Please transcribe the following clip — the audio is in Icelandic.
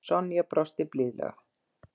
Sonja brosti blíðlega.